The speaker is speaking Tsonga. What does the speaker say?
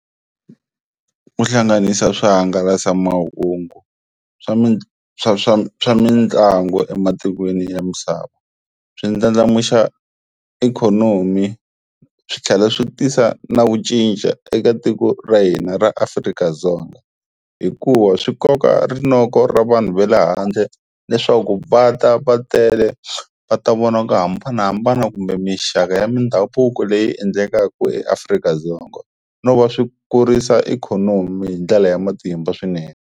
Ku hlanganisa swihangalasamahungu swa swa swa swa mitlangu ematikweni ya misava swi ndlandlamuxa ikhonomi swi tlhela swi tisa na ku cinca eka tiko ra hina ra Afrika-Dzonga hikuva swi koka rinoko ra vanhu va le handle leswaku va ta va tele va ta vona ku hambanahambana kumbe mixaka ya mindhavuko leyi endlekaku eAfrika-Dzonga no va swi kurisa ikhonomi hi ndlela ya matimba swinene.